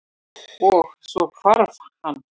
Og- svo hvarf hann.